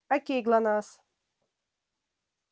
к кому пришла красавица